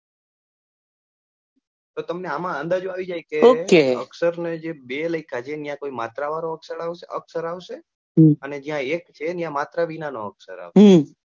તો તમને અમ અંદાજો આવી જાય કે અક્ષર ને બે લખ્યા છે એ માત્ર વાળા નો અક્ષર આવશે અને એક છે એમાં માત્ર વિના નો અક્ષર આવશે